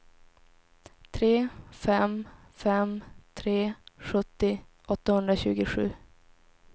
tre fem fem tre sjuttio åttahundratjugosju